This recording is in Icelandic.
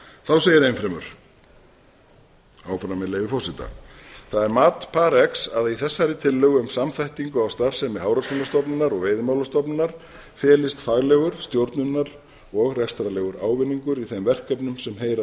þá segir enn fremur áfram með leyfi forseta það er mat parx að í þessari tillögu um samþættingu á starfsemi hafrannsóknastofnunarinnar og veiðimálastofnunar felist faglegur stjórnunar og rekstrarlegur ávinningur í þeim verkefnum sem heyra